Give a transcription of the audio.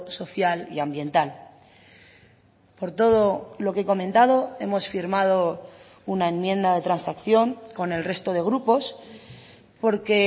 social y ambiental por todo lo que he comentado hemos firmado una enmienda de transacción con el resto de grupos porque